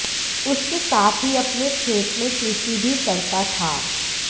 उसके साथ ही अपने खेत में कृषि भी करता था